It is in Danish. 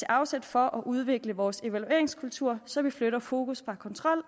afsæt for at udvikle vores evalueringskultur så vi flytter fokus fra kontrol